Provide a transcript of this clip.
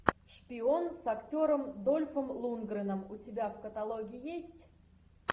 шпион с актером дольфом лундгреном у тебя в каталоге есть